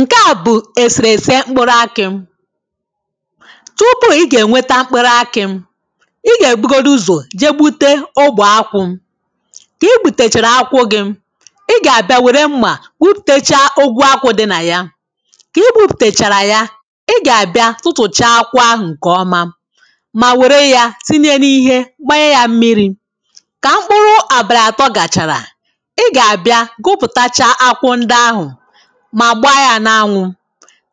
Ṅ̀ke a bụ ēsērēsē m̀kpụ̄rụ̄ akị̀. Tụpụ ige ṅwēta m̀kpụ̄rụ̄ akị̀ Ịga ebugodụzọ je gbute ọ̀gbe akwụ̀. Ki gbutechērē ákwụ̀ gì I ga-abia wērē m̀ma gbụputecha ogwu akwụ̀ di na ya Ki gbupụtechara ya I ga-bia tụ̀tụ̀cha akwù àhụ̄ ṅke ọ̀má. Mà wērē ya tiṅyē n’ìhé gbáṅyē ya m̀mịrị̀. Ka m̀kpụ̄rụ̄ àbàlì atọ̀ gachara I ga-bia gụpụtacha akwụ̀ ǹdi àhụ Ma gbaa ya n’aṅwụ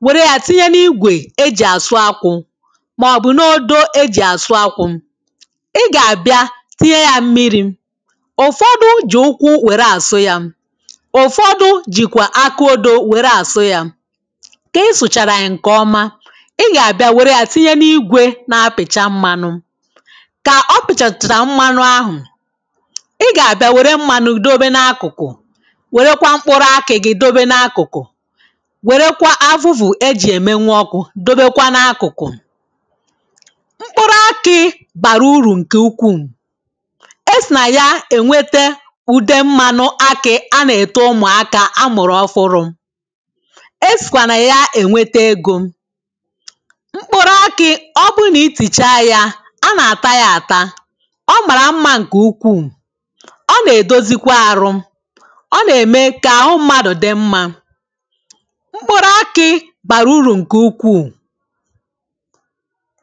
Wērē ya tiṅye n’ìgwe eji asụ akwụ̀. Mọ̀bụ̄ n’odo ejì asụ̄ akwụ̀. Ì ga-bia tiṅye ya m̀mirị̀ Ụ̀fọdụ̀ ji ụ̀kwù wērē asụ̄ ya. Ụ̀fọdụ̀ jìkwa akụ odo wērē asụ̄ ya. Kì sụchara ya ṅ̀ke ọ̀má Ì ga-bia wērē ya tiṅyé n’ígwé na-pìtcha m̀manụ̄. Ka ọ̀pichachra m̀mànụ àhụ̄. Ì ga-bia wērē m̀manụ dóbé n’ákụ̄kụ̄ Wērēkwá m̀kpụ̄rụ̄ akì gi dobe n’akụ̄kụ̄. Wērēkwa àvụ̀vụ̀ eji emeṅwụ ọ́kụ̄ dobekwá n’àkụ̄kụ̄. M̀kpụ̄rụ̄ akì barū ùrù ṅke ụ̀kwuu. Esi na ya èṅwete Ụ̀de mmànụ ákì a na-te ụ̀mụáká ámụ̀rụ̄ ọ̀fụrụ̄. Esikwa na ya èṅwētē ègo. M̀kpụ̄rụ̄ ákị̀ ọbụ niticha ya, a na-tayata Ọ̀ mara m̀ma ṅ̀ke ụ̀kwuu. Ọ̀ na-dozikwa arụ̀. Ọ̀ na-eme ka áhụ̀ mmadụ̄ di m̀ma. M̀kpụ̄rụ̄ ákị̀ barụ̄ ùrù ṅ̀ke ụ̀kwuú